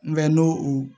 Mɛ n'o u